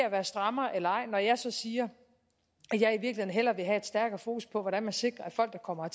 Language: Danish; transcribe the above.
at være strammer eller ej når jeg siger at jeg i hellere vil have stærkere fokus på hvordan vi sikrer at folk der kommer